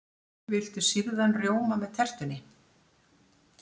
Viltu sýrðan rjóma með tertunni?